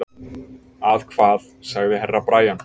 Að hvað, sagði Herra Brian.